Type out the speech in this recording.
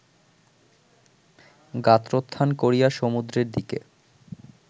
গাত্রোত্থান করিয়া সমুদ্রের দিকে